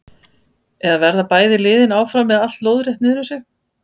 Eða verða bæði liðin áfram með allt lóðrétt niðrum sig?